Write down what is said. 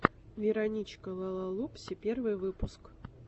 вероничка лалалупси первый выпуск